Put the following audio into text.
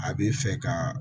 A b'i fɛ ka